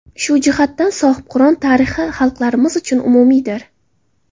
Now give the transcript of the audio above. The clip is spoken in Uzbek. Shu jihatdan, Sohibqiron tarixi xalqlarimiz uchun umumiydir”.